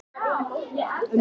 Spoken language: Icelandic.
Mynd frá Stefáni Jónssyni.